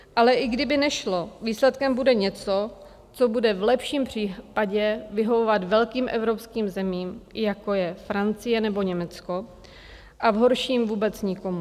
Ale i kdyby nešlo, výsledkem bude něco, co bude v lepším případě vyhovovat velkým evropským zemím, jako je Francie nebo Německo, a v horším vůbec nikomu.